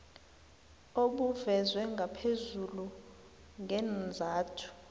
obuvezwe ngaphezulu ngeenzathu